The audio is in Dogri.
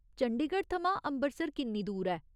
चंडीगढ़ थमां अम्बरसर किन्नी दूर ऐ?